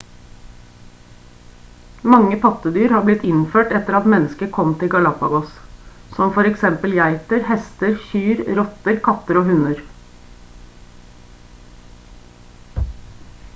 mange pattedyr har blitt innført etter at mennesket kom til galapagos som f.eks geiter hester kyr rotter katter og hunder